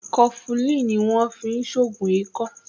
Kọfufíì ni wọ́n fi ń ṣògùn ikọ́